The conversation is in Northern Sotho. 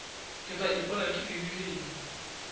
ke tla ipona ke dirileng